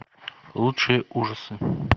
лучшие ужасы